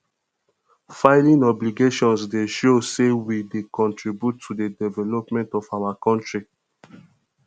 filing obligations dey show say we dey contribute to the development of our country